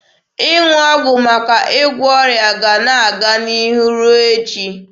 Ịṅụ ọgwụ maka ịgwọ ọrịa ga-ana aga n'ihu ruo echi.